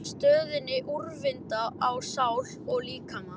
stöðinni, úrvinda á sál og líkama.